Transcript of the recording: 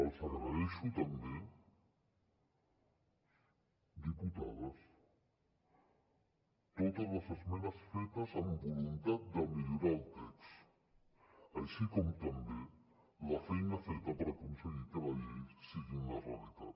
els agraeixo també diputades totes les esmenes fetes amb voluntat de millorar el text així com també la feina feta per aconseguir que la llei sigui una realitat